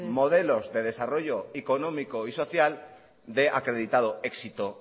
modelos de desarrollo económico y social de acreditado éxito